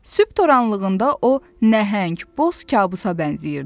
Sübh toranlığında o nəhəng boz kabusa bənzəyirdi.